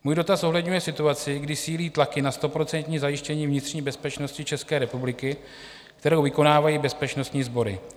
Můj dotaz zohledňuje situaci, kdy sílí tlaky na stoprocentní zajištění vnitřní bezpečnosti České republiky, kterou vykonávají bezpečnostní sbory.